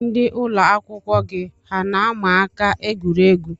Ndị ụlọakwụkwọ gị hà na-ama aka egwuregwu?